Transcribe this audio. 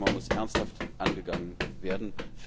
Dieses Thema muss ernsthaft angegangen werden.